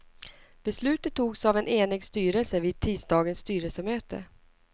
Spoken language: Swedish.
Beslutet togs av en enig styrelse vid tisdagens styrelsemöte.